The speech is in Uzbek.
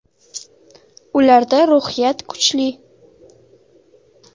Ularda ruhiyat kuchli.